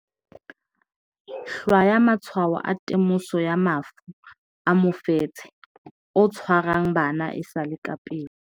Hlwaya matshwao a temoso ya mafu a mofetshe o tshwarang bana e sa le ka pele